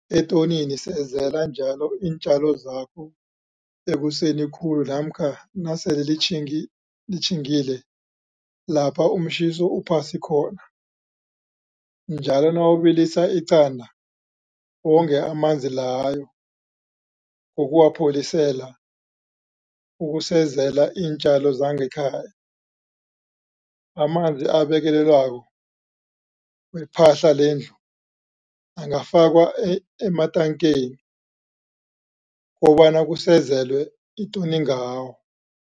Etonini Sezela njalo iintjalo zakho ekuseni khulu namkha nasele litjhingi litjhingile lapho umtjhiso uphasi khona. Njalo nawubilisa iqanda, wonge amanzi layo ngokuwapholisela ukusezela iintjalo zangekhaya. Amanzi abekelelwako wephahla lendlu angafakwa ematankeni kobana kusezelwe itoni ngawo.